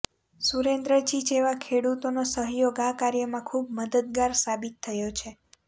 સુરેન્દ્ર જી જેવા ખેડુતોનો સહયોગ આ કાર્યમાં ખૂબ મદદગાર સાબિત થયો છે